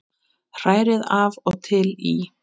Hrærið af og til í.